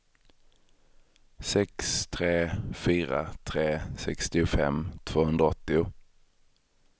sex tre fyra tre sextiofem tvåhundraåttio